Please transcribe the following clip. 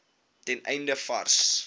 ten einde vars